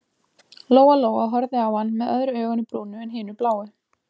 Lóa-Lóa horfði á hann með öðru auganu brúnu en hinu bláu.